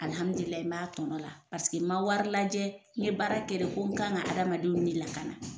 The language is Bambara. Alhamidulilayi n b'a tɔnɔ la paseke n ma wari lajɛ, n ye baara kɛ de ko n kan ka adamadenw ni lakana.